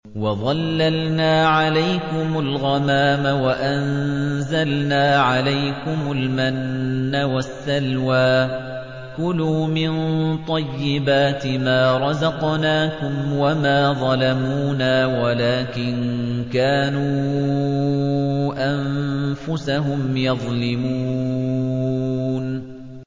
وَظَلَّلْنَا عَلَيْكُمُ الْغَمَامَ وَأَنزَلْنَا عَلَيْكُمُ الْمَنَّ وَالسَّلْوَىٰ ۖ كُلُوا مِن طَيِّبَاتِ مَا رَزَقْنَاكُمْ ۖ وَمَا ظَلَمُونَا وَلَٰكِن كَانُوا أَنفُسَهُمْ يَظْلِمُونَ